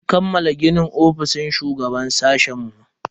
An kammala ginin ofishin shugaban sashen mu.